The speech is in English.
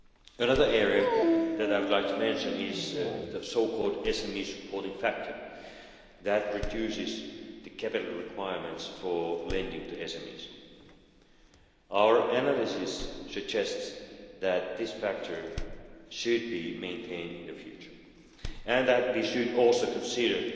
Another area I would like to mention is the so-called SME supporting factor that reduces the capital requirements for lending to SMEs. Our analyses suggest that this factor should be maintained in the future and that we should also consider